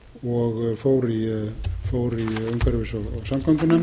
og fór í umhverfis og samgöngunefnd